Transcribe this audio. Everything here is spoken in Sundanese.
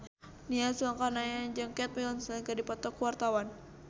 Nia Zulkarnaen jeung Kate Winslet keur dipoto ku wartawan